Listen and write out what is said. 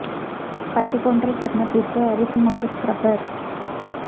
பட்டுப் போன்ற சருமத்திற்கு அரிசி மாவு ஸ்கரப்பர்